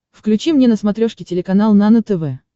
включи мне на смотрешке телеканал нано тв